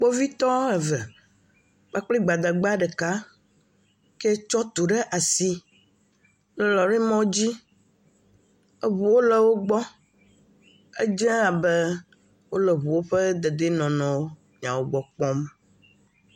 Kpovitɔ eve kpakple Gbadagba ɖeka ke tsɔ tu ɖe asi le lɔri mɔdzi. Eŋuwo le wogbɔ. Edze abe wole eŋuwo ƒe dedienɔnɔ nyawo gbɔ kpɔm.